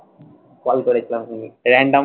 Call করেছিলাম random